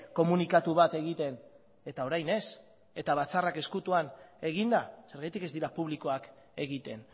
komunikatu bat egiten eta orain ez eta batzarrak ezkutuan eginda zergatik ez dira publikoak egiten